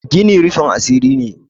gini rufin asiri ne